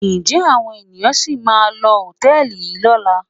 Ǹjẹ́ àwọn ènìyàn sì máa lo hòtẹ́ẹ̀lì yìí lọ́la?